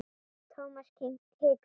Thomas hikaði.